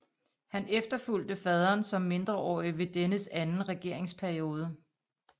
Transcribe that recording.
Han efterfulgte faderen som mindreårig ved dennes anden regeringsperiode